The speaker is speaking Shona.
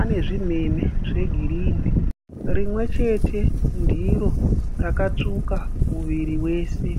ane zvinhenhe zvegirini rimwechete ndiro rakatsvuka muviri wese.